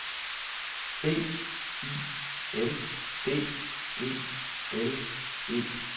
B I L D E L E